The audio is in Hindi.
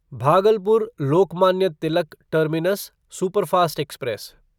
Bhagalpur Lokmanya Tilak terminus superfast express